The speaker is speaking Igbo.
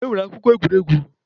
E nwere akụkọ egwuregwu.